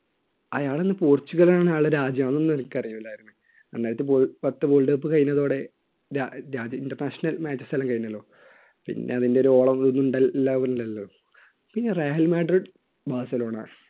അയാൾ എന്ന പോർച്ചുഗലിലാണ് അയാളുടെ രാജ്യം അതൊന്നും എനിക്കറിയില്ലായിരുന്നു രണ്ടായിരത്തി പത്ത് world cup കഴിഞ്ഞതോടെ international matchs എല്ലാം കഴിഞ്ഞല്ലോ പിന്നെ അതിൻറെ ഒരു ഓളവും എല്ലാം ഉണ്ടല്ലോ പിന്നെ റയല് മെഡൽ ബസിലോണ